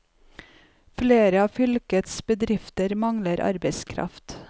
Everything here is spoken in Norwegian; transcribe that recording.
Flere av fylkets bedrifter mangler arbeidskraft.